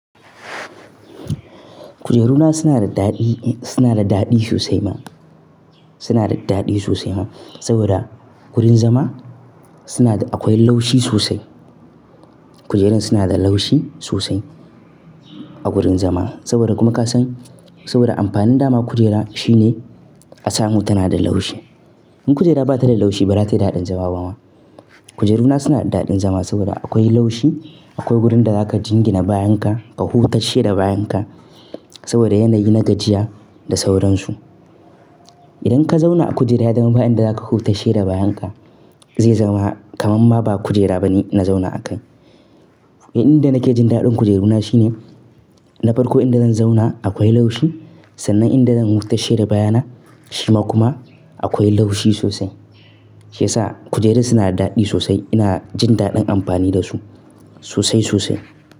Kujeru na suna da daɗi, suna da daɗi sosai ma. Suna da daɗi sosai ma saboda gurin zama suna da akwai laushi sosai. Kujerun suna da laushi sosai a gurin zama saboda kuma kasan saboda amfanin dama kujera shine a samu tana da laushi. In kujera ba ta da laushi ba zata yi daɗin zama ba ma. Kujeru na suna da daɗin zama saboda akwai laushi, akwai wurin da zaka jingina bayanka ka huta sheda bayanka saboda yanayi na gajiya da sauransu. Idan ka zauna a kujera ya zama bayan da zaka huta sheda bayanka zai zama kamar ma ba kujera bane na zauna a kai. Inda nake jin daɗin kujeru na shine na farko inda zan zauna akwai laushi sannan inda zan huta sheda bayana shima kuma akwai laushi sosai. Shi yasa kujerun suna da daɗi sosai. Ina jin daɗin amfani da su sosai sosai.